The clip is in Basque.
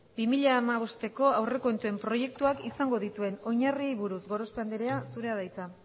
bi mila hamabosteko aurrekontuen proiektuak izango dituen oinarriei buruz gorospe andrea zurea da hitza